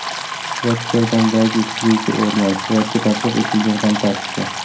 Rotterdamdagi suzuvchi o‘rmon: hayotga tatbiq etilgan fantastika.